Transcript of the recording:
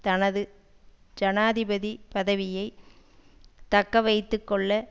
தனது ஜனாதிபதி பதவியை தக்க வைத்து கொள்ள